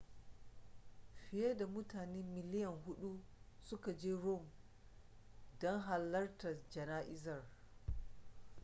fiye da mutane miliyan huɗu suka je rome don halartar jana'izar